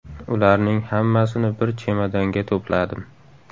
Ularning hammasini bir chemodanga to‘pladim”.